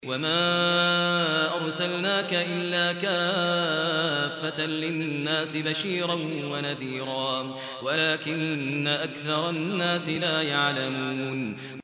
وَمَا أَرْسَلْنَاكَ إِلَّا كَافَّةً لِّلنَّاسِ بَشِيرًا وَنَذِيرًا وَلَٰكِنَّ أَكْثَرَ النَّاسِ لَا يَعْلَمُونَ